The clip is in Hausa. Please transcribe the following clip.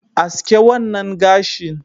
Aske wannan gashin.